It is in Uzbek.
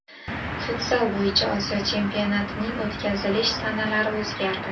Futzal bo‘yicha Osiyo chempionatining o‘tkazilish sanalari o‘zgardi.